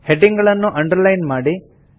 heading ಗಳನ್ನು underline ಮಾಡಿ